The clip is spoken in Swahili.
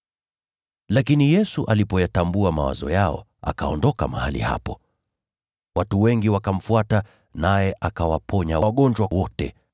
Lakini Yesu alipoyatambua mawazo yao, akaondoka mahali hapo. Watu wengi wakamfuata, naye akawaponya wagonjwa wao wote,